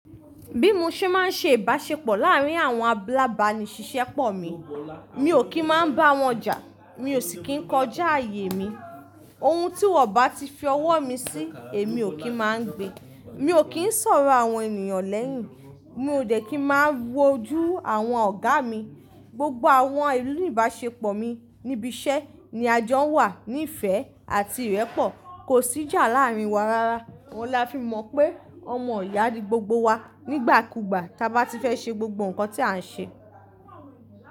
Bí mo ṣe máa ń ṣe ìbáṣepọ̀ láàárín àwọn alábàánisisẹ́pọ̀ mi, mi ò kí ń máa bá wọn jà, mi ò sì kí ń kọjá ààyè mi. Ohun tí wọ́n bá ti fi ọwọ́ mi sí, èmi ò kí ń má gbe. Mi ò kí ń ṣọ̀rọ̀ àwọn ènìyàn lẹ́yìn, mi ò dẹ́ kí ń máa wojú àwọn ọ̀gá mi. Gbogbo àwọn ìlú ìbáṣepọ̀ mi níbi iṣẹ́ ni a jọ ń wà ní ìfẹ́ àti ìrẹ́pọ̀. Kò sí jà láàárín wa rara. Ohùn la fi mọ̀ pé ọmọ ìyá ni gbogbo wa nígbàkúgbà tí a bá ti fẹ́ ṣe gbogbo nǹkan tí à ń ṣe.